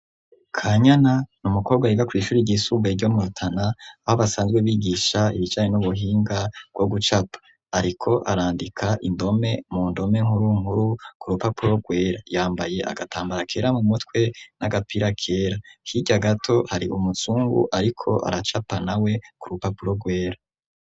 kanyana n'umukobwa yiga kwishure ry'isugaye ryo murutana aho basanzwe bigisha ibijanye n'ubuhinga bwo gucapa ariko arandika indome mu ndome nkurunkuru ku rupapuro rwera yambaye agatambara kera mu mutwe n'agapira kera hirya gato hari umusungu ariko aracapa nawe ku rupapuro rwera.